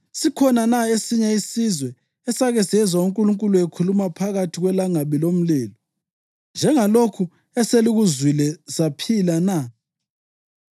Sikhona na esinye isizwe esake sezwa uNkulunkulu ekhuluma ephakathi kwelangabi lomlilo, njengalokhu eselikuzwile, saphila na?